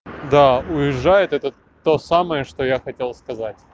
да уезжает это то самое что я хотел сказать